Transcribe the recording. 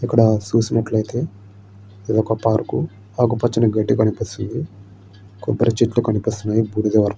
ఇక్కడ సూసినట్లయితే ఇది ఒక పార్కు ఆకుపచ్చని గడ్డి కనిపిస్తుంది కొబ్బరి చెట్లు కనిపిస్తున్నాయి బూడిద --